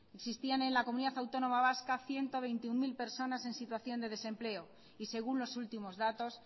existían en la comunidad autónoma vasca ciento veintiuno mil personas en situación de desempleo y según los últimos datos